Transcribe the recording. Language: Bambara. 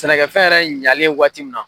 Sɛnɛkɛfɛn yɛrɛ ɲalen waati min na